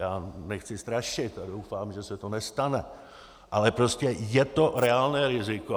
Já nechci strašit a doufám, že se to nestane, ale prostě je to reálné riziko.